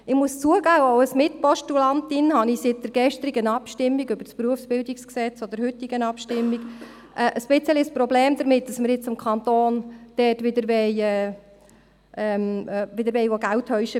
Ich muss zugeben, auch als Mitpostulantin habe ich seit der gestrigen Abstimmung über das BerG oder der heutigen Abstimmung ein bisschen ein Problem damit, dass wir vom Kanton wieder Geld verlangen wollen.